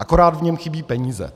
Akorát v něm chybí peníze.